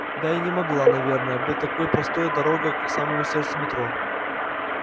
да и не могла наверное быть такой простой дорога к самому сердцу метро